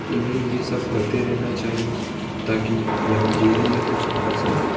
इन्हें ये सब करते रहना चाहिए ताकि यहां जीवन में कुछ कर सके।